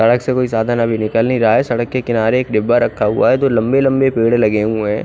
सड़क से ज्यादा कोई निकल नही रहा है सड़क के किनारे डिब्बा रखा हुआ है दो लम्बे लम्बे पेड़ लगे हुए है।